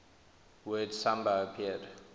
word samba appeared